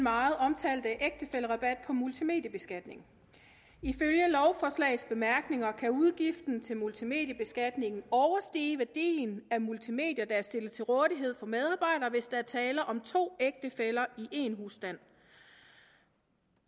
meget omtalte ægtefællerabat på multimediebeskatning ifølge lovforslagets bemærkninger kan udgiften til multimediebeskatningen overstige værdien af multimedier der er stillet til rådighed for medarbejdere hvis der er tale om to ægtefæller i én husstand